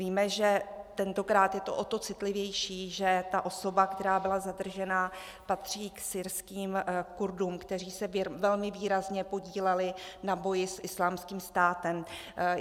Víme, že tentokrát je to o to citlivější, že ta osoba, která byla zadržena, patří k syrským Kurdům, kteří se velmi výrazně podíleli na boji s Islámským státem.